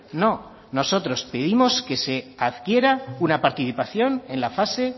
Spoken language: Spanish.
no nosotros pedimos que se adquiera una participación en la fase